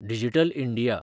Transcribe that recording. digital India